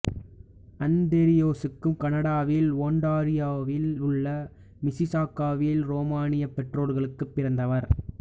அந்திரியெசுக்கு கனடாவில் ஒண்டாரியோவில் உள்ள மிசிசாகாவில் உரோமானியப் பெற்றோர்களுக்குப் பிறந்தவர்